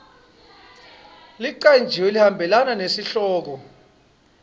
lecanjiwe lehambelana nesihloko